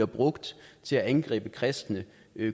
brugt til at angribe kristne